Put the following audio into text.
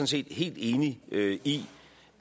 set helt enig i